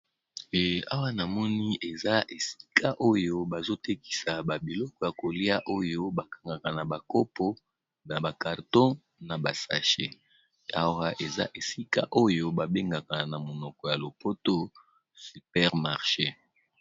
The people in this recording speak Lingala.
awa namoni eza esika oyo bazotekisa babiloko ya kolia oyo bakangaka na bakopo na bakarton na basache ara eza esika oyo babengaka na monoko ya lopoto supermarché